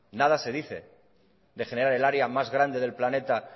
nada se dice de generar el área más grande del planeta